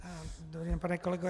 Dobrý den, pane kolego.